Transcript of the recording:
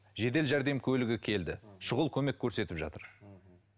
жедел жәрдем көлігі келді м шұғыл көмек көрсетіп жатыр мхм